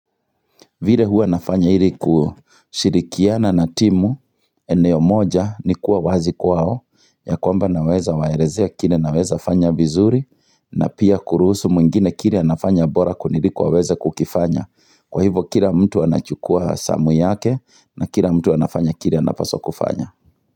Vile hua nafanya ili kushirikiana na timu eneo moja ni kuwa wazi kwao ya kwamba naweza waelezea kile naweza fanya vizuri na pia kurusu mwingine kile anafanya bora kuniliko aweze kukifanya Kwa hivo kile mtu anachukua zamu yake na kile mtu anafanya kile anapaswa kufanya.